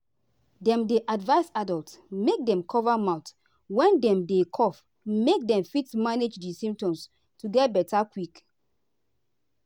dem dey advise adults make dem cover mouth when dem dey cough make dem fit manage di symptoms to get beta quick.